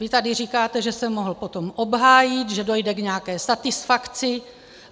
Vy tady říkáte, že se potom mohl obhájit, že dojde k nějaké satisfakci.